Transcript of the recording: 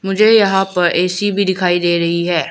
मुझे यहां पर ऐ_सी भी दिखाई दे रही है।